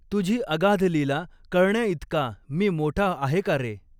तुझी अगाध लीला कळण्याइतका मी मोठा आहे का रे